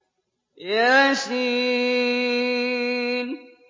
يس